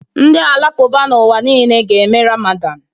Ndị Alakụba n'ụwa niile ga-eme Ramadan